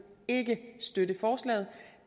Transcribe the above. ikke støtte forslaget